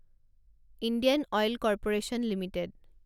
Indian oil corporation limited